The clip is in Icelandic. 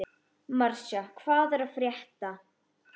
Marsa, hvað er að frétta?